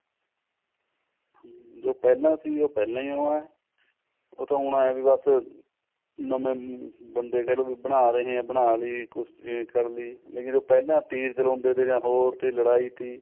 ਜੋ ਪਹਿਲਾਂ ਸੀ ਉਹ ਪਹਿਲਾਂ ਹੀ ਹੈ ਉਹ ਤਾਂ ਹੁਣ ਇਹ ਹੈ ਵੀ ਬਸ ਨਵੇਂ ਬੰਦੇ ਕਿਹ ਲਓ ਵੀ ਬਣਾ ਰਹੇ ਨੇ ਬਣਾਲੀ ਕੁਛ ਨੇ ਕਰਲੀ ਜੋ ਪਹਿਲਾਂ ਤੀਰ ਚਲਾਉਂਦੇ ਤੇ ਜਾਂ ਹੋਰ ਟੀ ਲੜਾਈ ਟੀ